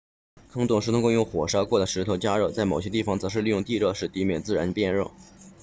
坑洞通过用火烧过的石头加热在某些地方则是利用地热使地面自然变热